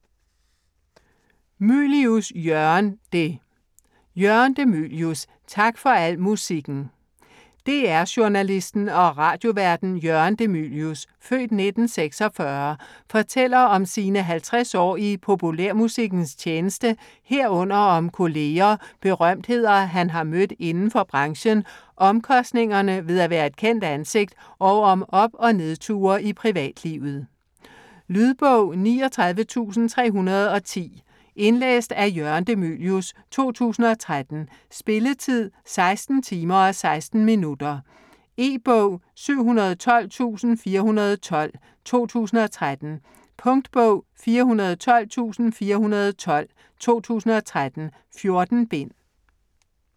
Mylius, Jørgen de: Jørgen de Mylius - tak for al musikken DR-journalisten og radioværten Jørgen de Mylius (f. 1946) fortæller om sine 50 år i populærmusikkens tjeneste herunder om kolleger, berømtheder han har mødt inden for branchen, omkostningerne ved at være et kendt ansigt og om op- og nedture i privatlivet. Lydbog 39310 Indlæst af Jørgen de Mylius, 2013. Spilletid: 16 timer, 16 minutter. E-bog 712412 2013. Punktbog 412412 2013. 14 bind.